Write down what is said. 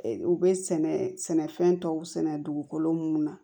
U bɛ sɛnɛ sɛnɛfɛn tɔw sɛnɛ dugukolo mun na